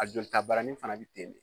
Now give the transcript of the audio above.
A jolita baranin fana bɛ ten